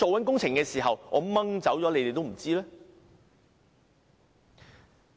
工程完工後，是要驗收的。